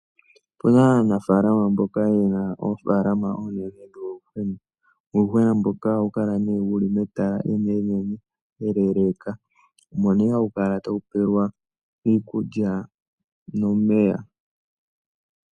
Opuna aanafalama mboka yena oofaalama oonene dhuuyuhwena. Uuyuhwena mboka ohawu kala ne wuli metala eneenene, eleeleka. Omo ne hawu kala tawu pelwa iikulya, nomeya.